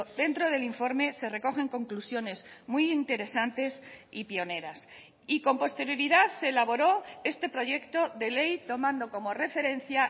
dentro del informe se recogen conclusiones muy interesantes y pioneras y con posterioridad se elaboró este proyecto de ley tomando como referencia